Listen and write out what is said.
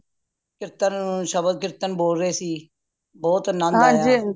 ਕੀਰਤਨ ਸ਼ਬਦ ਕੀਰਤਨ ਬੋਲ ਰਹੇ ਸੀ ਬਹੁਤ ਆਨੰਦ ਆਯਾ